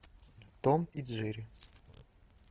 том и джерри